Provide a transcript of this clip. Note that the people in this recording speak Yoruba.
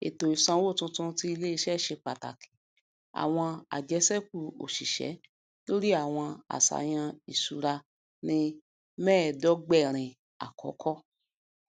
ètò ìsanwó tuntun ti iléiṣẹ ṣe pàtàkì àwọn àjẹsékù oṣiṣẹ lórí àwọn àṣàyàn iṣúra ní mẹẹdọgbẹrin àkọkọ